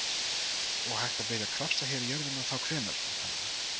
Og hægt að byrja að krafsa hér í jörðina þá hvenær, væntanlega?